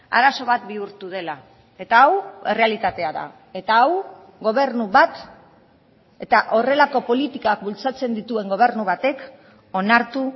arazo bat bihurtu dela eta hau errealitatea da eta hau gobernu bat eta horrelako politikak bultzatzen dituen gobernu batek onartu